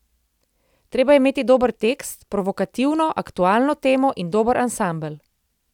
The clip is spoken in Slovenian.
Treba je imeti dober tekst, provokativno, aktualno temo in dober ansambel.